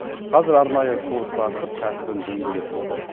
қазір арнайы курс ашып кәсібін дөңгелетіп отыр